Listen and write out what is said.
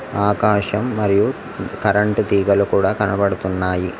ఆకాశం మరియు కరెంటు తీగలు కూడా కనబడుతున్నాయి.